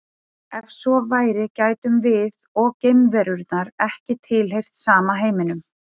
Ef svo væri gætum við og geimverunnar ekki tilheyrt sama heiminum.